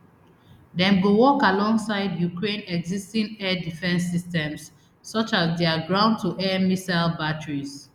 dem go work alongside ukraine existing air defence systems such as dia groundtoair missile batteries